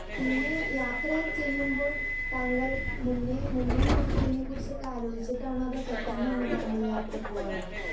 Speaker 2 പിന്നെ യാത്ര ചെയ്യുമ്പോൾ താങ്കൾ മുന്നേ മുന്നേ കൂട്ടി ഇതിനെക്കുറിച്ചൊക്കെ ആലോചിച്ചിട്ടണോ അതോ പെട്ടെന്നാണോ താങ്കൾ യാത്ര പോകാറ്?